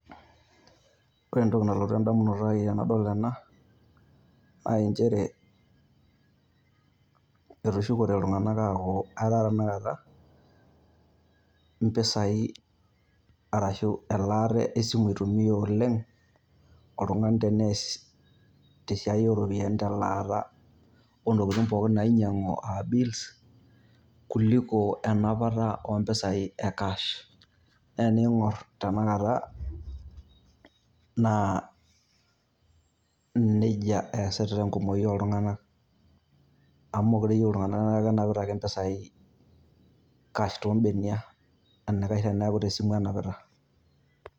Ore entoki nalotu edamunoto ai tenadol ena, na injere, etushukote iltung'anak aaku etaa tanakata impisai arashu elaata esimu eitumia oleng',oltung'anak tenees tesiai oropiyiani telaata ontokiting' pookin nainyang'u a bills ,kuliko enapata ompisai e cash. Na ening'or tanakata, na nejia eesita enkumoyu oltung'anak, amu mekure eyieu iltung'anak na kenapita ake mpisai cash tombenia, enaikash teneeku tesimu enapita.